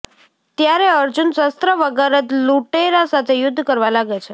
ત્યારે અર્જુન શસ્ત્ર વગર જ લુટેરા સાથે યુદ્ધ કરવા લાગે છે